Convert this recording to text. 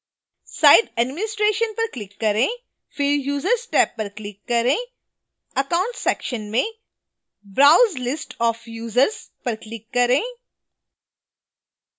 site administration पर click करें फिर users टेब पर click करें accounts section में browse list of users पर click करें